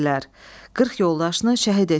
Qırx yoldaşını şəhid etdilər.